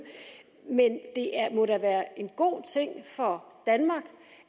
men det må da være en god ting for danmark